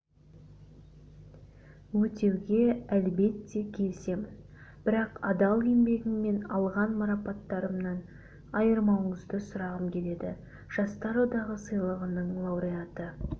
өтеуге әлбетте келісемін бірақ адал еңбегіммен алған марапаттарымнан айырмауыңызды сұрағым келеді жастар одағы сыйлығының лауреаты